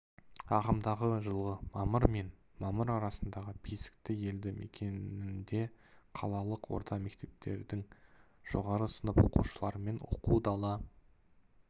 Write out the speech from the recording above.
ағымдағы жылғы мамыр мен мамыр аралығында бесікті елді мекенінде қалалық орта мектептердің жоғары сынып оқушыларымен оқу-дала